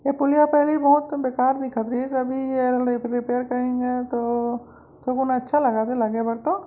ये पुलिया फिर भी बहोत बेकार दिखत रहिस अभी एला रिप रिपेयर करिन हे तो थो कुन अच्छा लगत हे लगे बर तो--